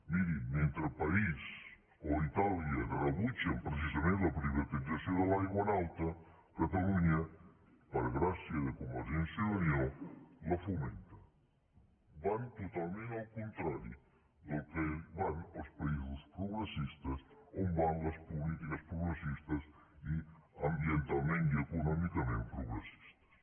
miri mentre parís o itàlia rebutgen precisament la privatització de l’aigua en alta catalunya per gràcia de convergència i unió la fomenta van totalment al contrari del que van els països progressistes on van les polítiques progressistes i ambientalment i econòmicament progressistes